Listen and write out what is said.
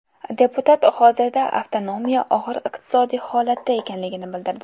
Deputat hozirda avtonomiya og‘ir iqtisodiy holatda ekanligini bildirdi.